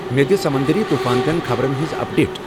مے دِ سمندری طوفان چین خبرن ہٕنٛز اپ ڈیٹ ۔